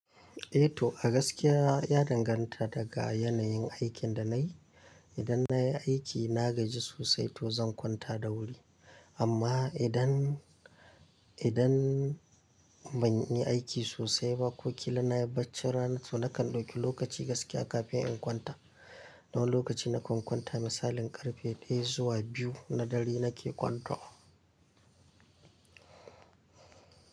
Eh to a gaskiya ya danganta daga yanayin aikin da nayi. Idan nayi aiki na gaji sosai to zan kwanta da wuri. Amma idan, idan banyi aiki sosai ba ko kila nayi bacci rana to nakan dauki lokaci gaskiya kafin in kwanta. Wani lokaci na kan kwanta misalin karfe ɗaya zuwa biyu na dare nake kwanto.